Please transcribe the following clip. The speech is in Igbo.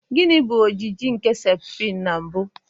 Gini bụ ojiji nke septrin na mbụ?